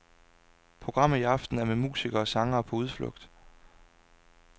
Programmet i aften er med musikere og sangere på udflugt.